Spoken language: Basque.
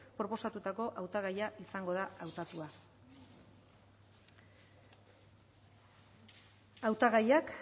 proposatutako hautagaia izango da hautatua hautagaiak